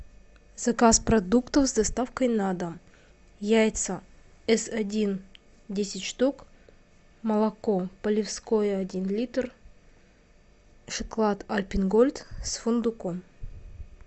заказ продуктов с доставкой на дом яйца эс один десять штук молоко полевское один литр шоколад альпен гольд с фундуком